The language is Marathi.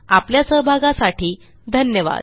आपल्या सहभागासाठी धन्यवाद